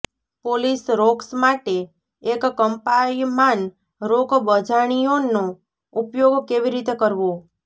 polish rocks માટે એક કંપાયમાન રોક બજાણિયોનો ઉપયોગ કેવી રીતે કરવો